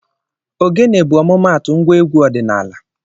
Ogene bụ ọmụmaatụ ngwa egwu ọdịnala